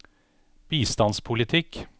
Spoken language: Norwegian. bistandspolitikk